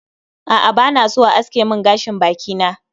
A'a bana so a aske min gashin baki na